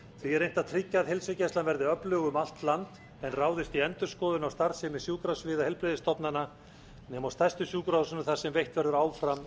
að tryggja að heilsugæslan verði öflug um allt land en ráðist í endurskoðun á starfsemi sjúkrasviða heilbrigðisstofnana nema á stærstu sjúkrahúsunum þar sem veitt verður áfram